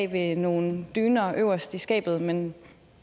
ved nogle dyner øverst i skabet men